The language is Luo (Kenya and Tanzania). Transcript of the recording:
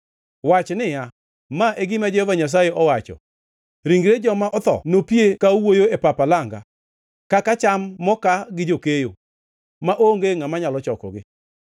Wach niya, “Ma e gima Jehova Nyasaye owacho: “ ‘Ringre joma otho nopie ka owuoyo e pap alanga, kaka cham mokaa gi jakeyo, maonge ngʼama nyalo chokogi.’ ”